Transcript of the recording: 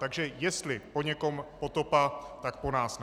Takže jestli po někom potopa, tak po nás ne.